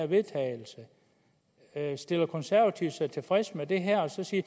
vedtagelse stiller konservative sig tilfredse med det her og siger